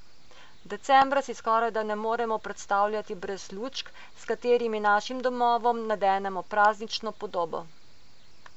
Decembra si skorajda ne moremo predstavljati brez lučk, s katerimi našim domovom nadenemo praznično podobo.